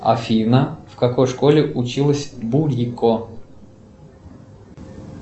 афина в какой школе училась бурико